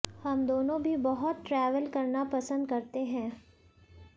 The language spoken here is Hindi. हम दोनों भी बहुत ट्रैवल करना पसंद करते हैं